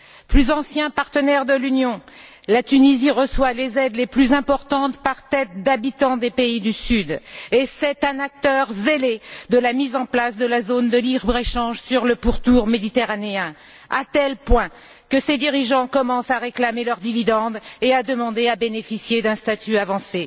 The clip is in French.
Plus ancien partenaire de l'Union, la Tunisie reçoit les aides les plus importantes, par tête d'habitant, parmi les pays du Sud, et c'est un acteur zélé de la mise en place de la zone de libre échange sur le pourtour méditerranéen, à tel point que ses dirigeants commencent à réclamer leurs dividendes et à demander à bénéficier d'un statut avancé.